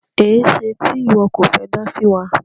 Ẹ̀ṣẹ̀ tí iwọ kọ fẹ́ dá sí wa?